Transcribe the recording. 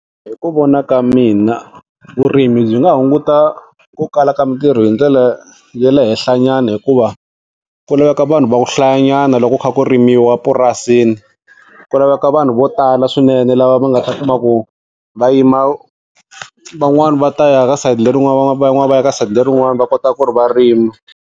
Hi ku vona ka mina vurimi byi nga hunguta ku kala ka mintirho hi ndlela ya le henhlanyana hikuva ku laveka vanhu va ku hlayanyana loko ku kha ku rimiwa purasi, ku laveka vanhu vo tala swinene lava va nga ta kuma ku va yima van'wani va ta ya ka sayiti lerin'wana van'wana va ya ka side lerin'wani va kota ku ri va rima.